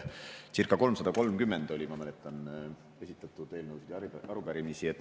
Circa 330, ma mäletan, oli esitatud eelnõusid ja arupärimisi.